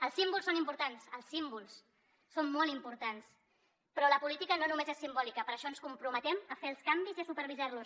els símbols són importants els símbols són molt importants però la política no només és simbòlica per això ens comprometem a fer els canvis i a supervisar los